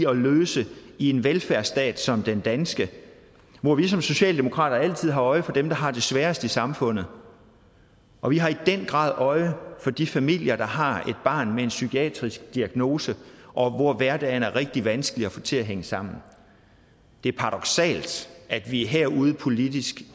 og løse i en velfærdsstat som den danske hvor vi som socialdemokrater altid har øje for dem der har det sværest i samfundet og vi har i den grad øje for de familier der har et barn med en psykiatrisk diagnose og hvor hverdagen er rigtig vanskelig at få til at hænge sammen det er paradoksalt at vi er herude politisk